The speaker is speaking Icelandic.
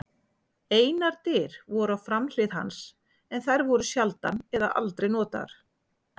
Einar dyr voru á framhlið hans en þær voru sjaldan eða aldrei notaðar.